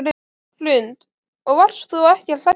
Hrund: Og varst þú ekkert hræddur?